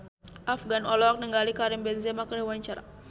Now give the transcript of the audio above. Afgan olohok ningali Karim Benzema keur diwawancara